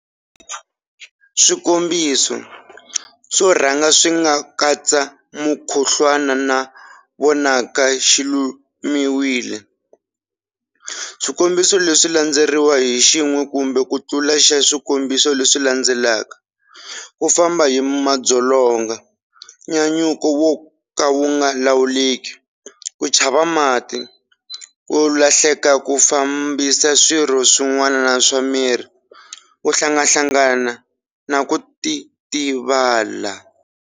Swikombiso swo rhanga swi nga katsa mukhuhlwana na vonaka xi lumiwile. Swikombiso leswi swi landzeriwa hi xin'we kumbe ku tlula xa swikombiso leswi landzelaka-ku famba hi madzolonga, nyanyuko wo ka wu nga lawuleki, ku chava mati, ku hluleka ku fambisa swirho swin'wana swa miri, ku hlanganahlangana, na ku titivala.